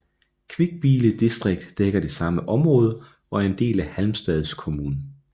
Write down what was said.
Kvibille distrikt dækker det samme område og er en del af Halmstads kommun